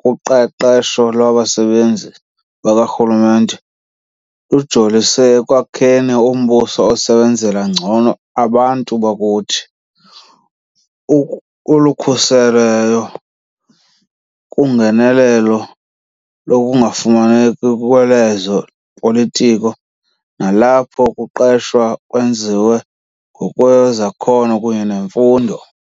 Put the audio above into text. kuQeqesho lwaBasebenzi bakaRhulumente lujolise ekwakheni umbuso osebenzela ngcono abantu bakuthi, olukhuselweyo kungenelelo lokungafumaneki lwezo politiko nalapho ukuqeshwa kwenziwa ngokwezakhono kunye nemfundo.